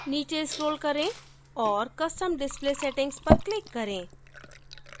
नीचे scroll करें औऱ custom display settings पर click करें